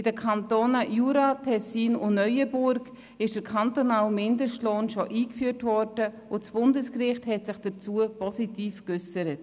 In den Kantonen Jura, Tessin und Neuenburg ist der kantonale Mindestlohn bereits eingeführt und das Bundesgericht hat sich dazu positiv geäussert.